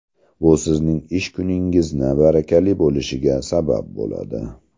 Bu sizning ish kuningizni barakali bo‘lishiga sabab bo‘ladi.